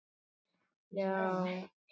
Þín frænka Árdís.